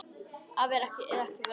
Að vera eða ekki vera?